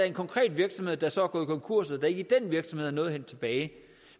en konkret virksomhed der så er gået konkurs og at der ikke i den virksomhed er noget at hente tilbage